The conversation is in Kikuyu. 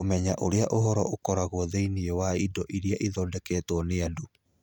Kũmenya ũrĩa ũhoro ũkoragwo thĩinĩ wa indo iria ithondeketwo nĩ andũ: